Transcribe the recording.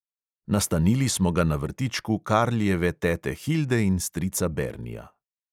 Nastanili smo ga na vrtičku karlijeve tete hilde in strica bernija.